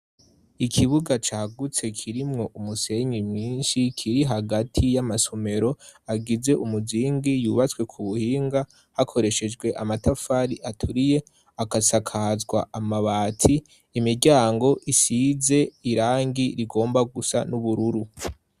Ikibuga cagutse kirimwo umusenyi mwinshi. Kiri hagati y'amasomero, agize umuzingi, yubatswe ku buhinga hakoreshejwe amatafari aturiye. Akasakazwa amabati, imiryango isize irangi rigomba gusa n'ubururu.